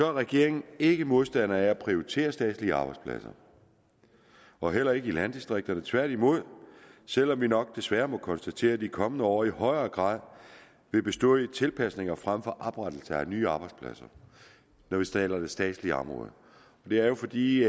er regeringen ikke modstander af at prioritere statslige arbejdspladser og heller ikke i landdistrikterne tværtimod selv om vi nok desværre må konstatere at de kommende år i højere grad vil bestå af tilpasninger frem for oprettelse af nye arbejdspladser når vi taler om det statslige område det er jo fordi